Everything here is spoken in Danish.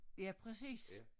Ja præcis